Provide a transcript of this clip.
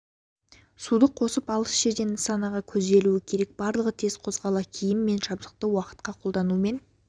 суды қосып алыс жертен нысанаға көзделуі керек барлығы тез қозғала киім мен жабдықты уақытқа қолданумен